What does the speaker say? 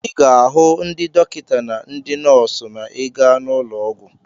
Ị ga-ahụ ndị dọkịta na ndị nọọsụ ma ị gaa n'ụlọ ọgwụ.